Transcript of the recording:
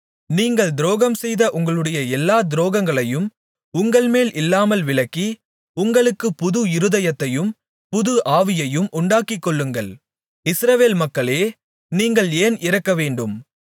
நீங்கள் துரோகம்செய்த உங்களுடைய எல்லாத் துரோகங்களையும் உங்கள்மேல் இல்லாமல் விலக்கி உங்களுக்குப் புது இருதயத்தையும் புது ஆவியையும் உண்டாக்கிக்கொள்ளுங்கள் இஸ்ரவேல் மக்களே நீங்கள் ஏன் இறக்கவேண்டும்